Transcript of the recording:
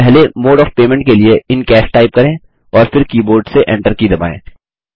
पहले mode of payment के लिए इन कैश टाइप करें और फिर कीबोर्ड से Enter की दबाएँ